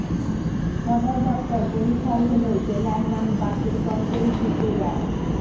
সদর দপ্তর বরিশাল হলেও জেলার নাম বাকেরগঞ্জই থেকে যায়